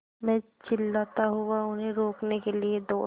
मैं चिल्लाता हुआ उन्हें रोकने के लिए दौड़ा